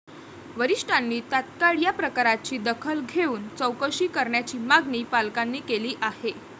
वरीष्ठांनी तात्काळ या प्रकाराची दखल घेऊन चौकशी करण्याची मागणी पालकांनी केली आहे.